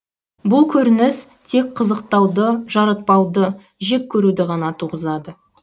бұл көрініс тек қызықтауды жаратпауды жек көруді ғана туғызады